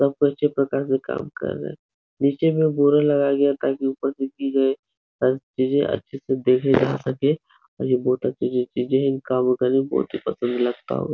सब अच्छे प्रकार से काम कर रहे है। नीचे में बोरा लगाया गया है। ताकि उपर की सारी चीजे़ अच्छे से देखी जा सके है और ये बहुत अच्छी अच्छी चीजे़ हैं। इन कामों में बहुत ही पसंद लगता होगा।